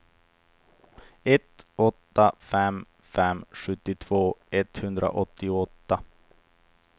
ett åtta fem fem sjuttiotvå etthundraåttioåtta